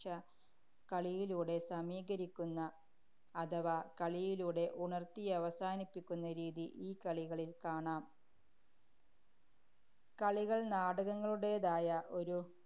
~ഞ്ഛ, കളിയിലൂടെ സമീകരിക്കുന്ന, അഥവാ കളിയിലൂടെ ഉണര്‍ത്തിയവസാനിപ്പിക്കുന്ന രീതി ഈ കളികളില്‍ കാണാം കളികള്‍ നാടകങ്ങളുടേതായ ഒരു